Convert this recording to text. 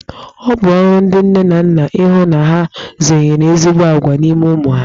Ọ bụ ọrụ ndị nne na nna ihụ na ha zụnyere ezigbo agwa n'ime ụmụ ha.